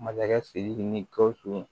Masakɛ sidiki ni gausu